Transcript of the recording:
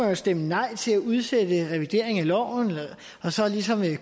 jo stemme nej til at udsætte revideringen af loven og så ligesom